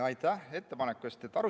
Aitäh ettepaneku eest!